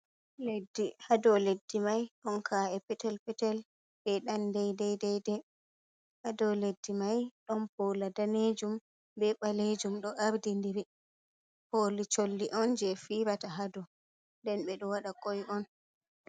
Leddi hado leddi mai ɗon ka’e petel-petel be Dan dede dede hado leddi mai ɗon pola danejum be balejum, do ardi diri, poli colli on je fijata hado, nden be do wada koi on.